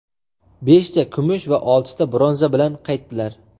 beshta kumush va oltita bronza bilan qaytdilar.